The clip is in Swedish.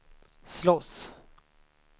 slåss